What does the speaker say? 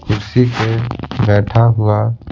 कुर्सी पे बैठा हुआ--